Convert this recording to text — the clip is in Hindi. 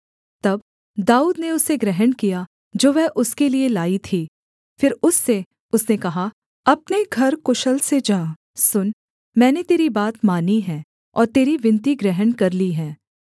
तब दाऊद ने उसे ग्रहण किया जो वह उसके लिये लाई थी फिर उससे उसने कहा अपने घर कुशल से जा सुन मैंने तेरी बात मानी है और तेरी विनती ग्रहण कर ली है